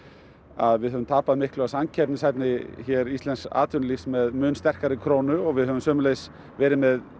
að við höfum tapað miklu af samkeppnishæfni íslensks atvinnulífs með mun sterkari krónu við höfum sömuleiðis verið með